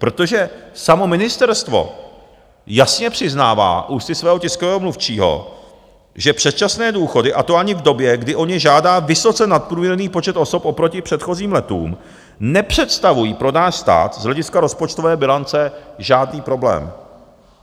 Protože samo ministerstvo jasně přiznává ústy svého tiskového mluvčího, že předčasné důchody - a to ani v době, kdy o ně žádá vysoce nadprůměrný počet osob oproti předchozím letům, nepředstavují pro náš stát z hlediska rozpočtové bilance žádný problém.